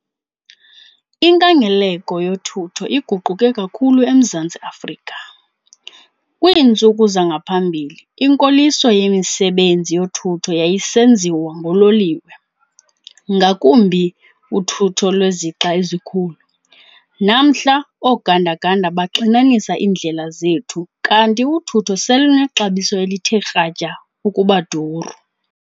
Inkangeleko yothutho iguquke kakhulu eMzantsi Afrika. Kwiintsuku zangaphambili, inkoliso yemisebenzi yothutho yayisenziwa ngololiwe, ngakumbi uthutho lwezixa ezikhulu. Namhla oganda-ganda baxinanisa iindlela zethu kanti uthutho selunexabiso elithe kratya ukuba duru.